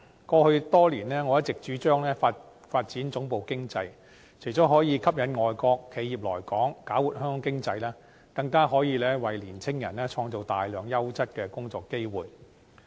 過去多年，我一直主張發展總部經濟，除了可以吸引外國企業來港，搞活香港經濟，更可以為青年人創造大量優質的工作機會。